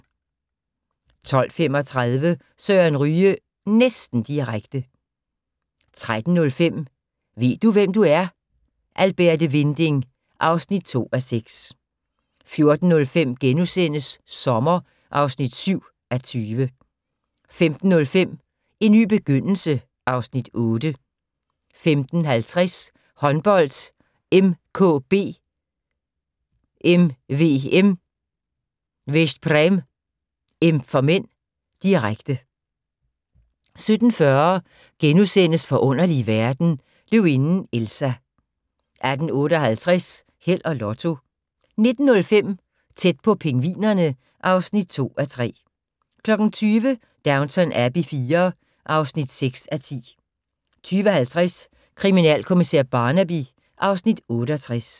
12:35: Søren Ryge næsten direkte 13:05: Ved du, hvem du er? - Alberte Winding (2:6) 14:05: Sommer (7:20)* 15:05: En ny begyndelse (Afs. 8) 15:50: Håndbold: MKB-MVM Veszprém (m), direkte 17:40: Forunderlige verden - Løvinden Elsa * 18:58: Held og Lotto 19:05: Tæt på pingvinerne (2:3) 20:00: Downton Abbey IV (6:10) 20:50: Kriminalkommissær Barnaby (Afs. 68)